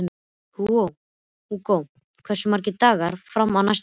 Hugo, hversu margir dagar fram að næsta fríi?